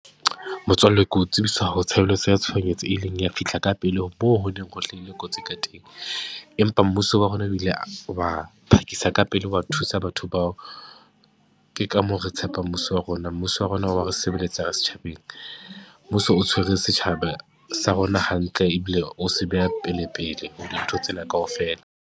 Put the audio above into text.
Motswalle ke o tsebisa ho tshebeletso ya tshohanyetso, e leng ya fihla ka pele ho moo ho neng ho hlahile kotsi ka teng. Empa mmuso wa rona o ile a, wa phakisa ka pele wa thusa batho bao. Ke ka moo re tshepa mmuso wa rona, mmuso wa rona o wa re sebeletsa ka setjhabeng. Mmuso o tshwere setjhaba sa rona hantle, ebile o se beha pelepele ho dintho tsena kaofela.